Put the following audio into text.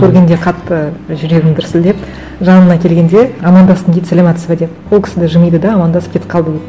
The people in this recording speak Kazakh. көргенде қатты жүрегім дүрсілдеп жанымнан келгенде амандастым дейді саламатсыз ба деп ол кісі де жымиды да амандасып кетіп қалды дейді